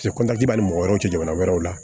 mɔgɔ wɛrɛw tɛ jamana wɛrɛw la